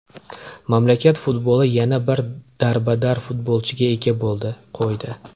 Mamlakat futboli yana bir darbadar futbolchiga ega bo‘ldi, qo‘ydi.